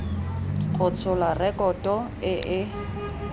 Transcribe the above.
go tshola rekoto e e